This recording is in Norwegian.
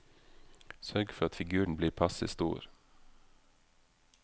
Sørg for at figuren blir passe stor.